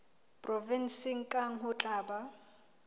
provenseng kang ho tla ba